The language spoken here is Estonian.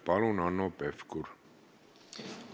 Palun, Hanno Pevkur!